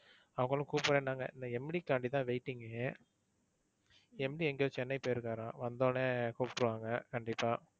அவங்களும் கூப்புடுறேன்னாங்க. இந்த MD காண்டி தான் waiting MD எங்கயோ சென்னை போயிருக்காராம் வந்த உடனே கூப்புடுவாங்க கண்டிப்பா.